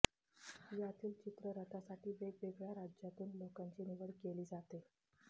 यातील चित्ररथासाठी वेगवेगळ्या राज्यांतून लोकांची निवड केली जाते